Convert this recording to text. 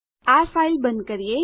આ ફાઈલ બંધ કરીએ